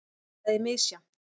Það er misjafnt.